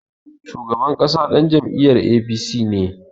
Shugaban ƙasa ɗan jam'iyar APC ne.